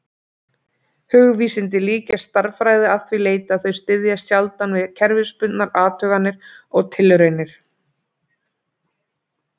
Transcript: Hugvísindin líkjast stærðfræði að því leyti að þau styðjast sjaldan við kerfisbundnar athuganir og tilraunir.